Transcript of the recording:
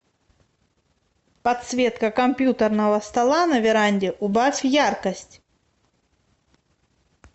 подсветка компьютерного стола на веранде убавь яркость